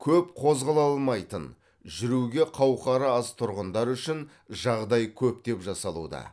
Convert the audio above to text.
көп қозғала алмайтын жүруге қауқары аз тұрғындар үшін жағдай көптеп жасалуда